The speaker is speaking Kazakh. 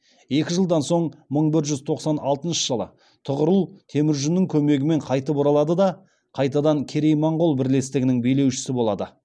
екі жылдан соң мың бір жүз тоқсан алтыншы жылы тұғырыл темүжіннің көмегімен қайтып оралады да қайтадан керей моғол бірлестігінің билеушісі болады